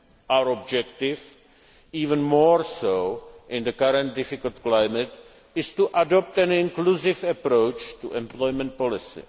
a few. Our objective even more so in the current difficult climate is to adopt an inclusive approach to employment